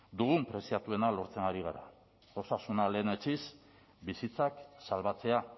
dugun preziatuena lortzen ari gara osasuna lehenetsiz bizitzak salbatzea